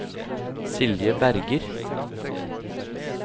Silje Berger